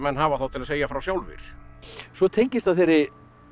hafa þá til að segja frá sjálfir svo tengist það þeirri